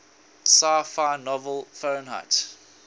sci fi novel fahrenheit